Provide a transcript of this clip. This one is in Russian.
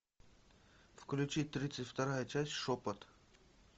включи тридцать вторая часть шепот